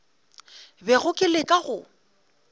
bego ke le ka go